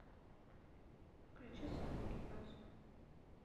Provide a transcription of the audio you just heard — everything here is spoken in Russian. включи сонный гипноз